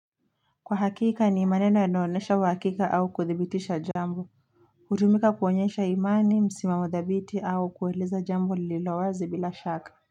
Kwa hakika ni maneno yanaonesha uhakika au kuthibitisha jambo Utumika kuonyesha imani msimamo thabiti au kueleza jambo lililowazi bila shaka.